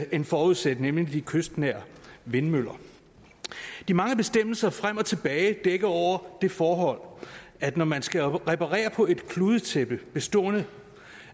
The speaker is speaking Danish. end forudsat nemlig de kystnære vindmøller de mange bestemmelser frem og tilbage dækker over det forhold at når man skal reparere på et kludetæppe bestående